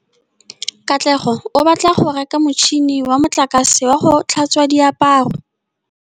Katlego o batla go reka motšhine wa motlakase wa go tlhatswa diaparo.